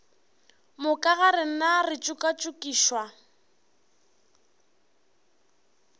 moka ga rena re tšokatšokišwa